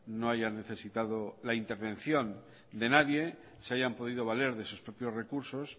no hayan necesitado la intervención de nadie se hayan podido valer de sus propios recursos